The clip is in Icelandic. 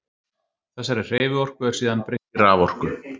Þessari hreyfiorku er síðan breytt í raforku.